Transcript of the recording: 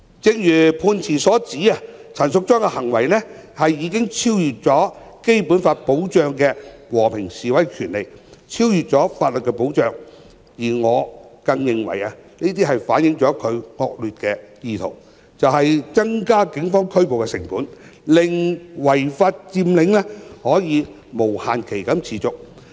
正如判詞所指，陳淑莊議員的行為已超越《基本法》保障的和平示威權利、超越法律保障，而我更認為這反映了她的惡劣意圖，就是增加警方拘捕的成本，令違法佔領可無限期持續。